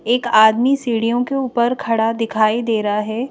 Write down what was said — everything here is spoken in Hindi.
एक आदमी सीढ़ियों के ऊपर खड़ा दिखाई दे रहा है।